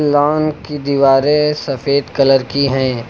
Loan की दीवारें सफेद कलर की हैं।